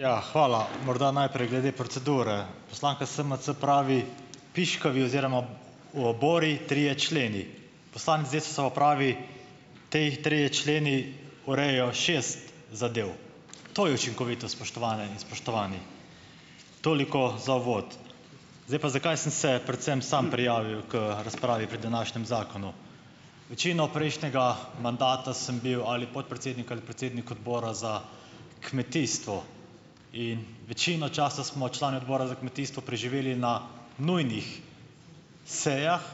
Ja. Hvala. Morda najprej glede procedure. Poslanka SMC pravi, piškavi oziroma obori trije členi, poslanec Desusa pa pravi, ti trije členi urejajo šest zadev. To je učinkovito, spoštovane in spoštovani. Toliko za uvod. Zdaj pa, zakaj sem se predvsem samo prijavil k razpravi pri današnjem zakonu. Večino prejšnjega mandata sem bil ali podpredsednik ali predsednik odbora za kmetijstvo in večino časa smo člani odbora za kmetijstvo preživeli na nujnih sejah,